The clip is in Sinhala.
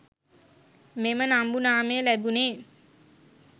මෙම නම්බු නාමය ලැබුණේ